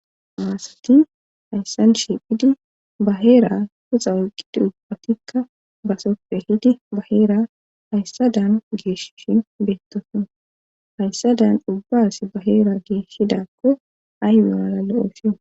maasati hayssan shiphidi baheera huxa oyqqi duphatikka basoppe hidi ba heera hayssadan geeshshin beettoso hayssa dan dubbas baheera geeshshidakko ayoonala le7ooshi